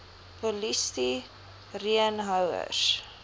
polisti reen houers